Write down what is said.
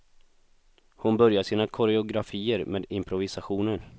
Hon börjar sina koreografier med improvisationer.